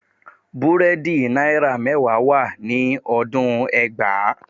Búrẹ́dì náírà mẹ́wàá wà ní ọdún ẹgbàá